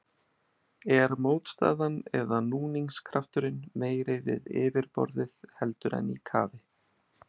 Er mótstaðan eða núningskrafturinn meiri við yfirborðið, heldur en í kafi?